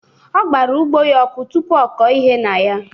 Ọgbara ugbo ya ọkụ tụpụ ọkọ ihe na ya.